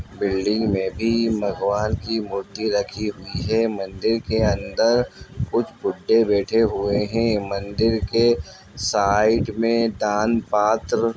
building में भी भगवान की मूर्ति रखी हुई है मंदिर के अंदर कुछ बूढ़े बैठे हुए है मंदिर के साइड में दान पात्र --